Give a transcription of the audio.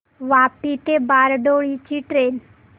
वापी ते बारडोली ची ट्रेन